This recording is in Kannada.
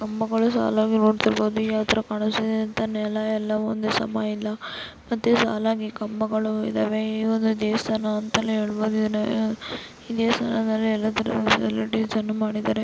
ಕಂಬಗಳು ಸಾಲಾಗಿ ನೋಡುತ್ತಿರಬಹುದು ಯಾವತರ ಕಾಣ್ತಾಯಿದೆ ಅಂತ ನೆಲ ಎಲ್ಲಾ ಒಂದೇ ಸಮ ಇಲ್ಲ ಮತ್ತೆ ಸಾಲಾಗಿ ಕಂಬಗಳು ಇದ್ದಾವೆ ಈ ಒಂದು ದೇವಸ್ಥಾನ ಅಂತಾನೇ ಹೇಳ ಬಹುದು ಇದನ್ನ ಈ ದೇವಸ್ಥಾನದಲ್ಲಿ ಎಲ್ಲಾತರ ಫೆಸಿಲಿಟಿಸ್ ಅನ್ನು ಮಾಡಿದ್ದಾರೆ.